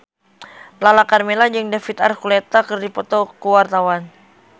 Lala Karmela jeung David Archuletta keur dipoto ku wartawan